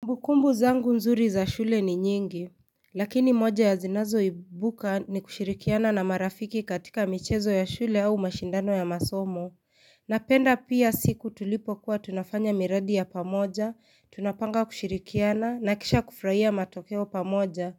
Kumbukumbu zangu nzuri za shule ni nyingi, lakini moja ya zinazo ibuka ni kushirikiana na marafiki katika michezo ya shule au mashindano ya masomo. Napenda pia siku tulipo kuwa tunafanya miradi ya pamoja, tunapanga kushirikiana, nakisha kufrahia matokeo pamoja.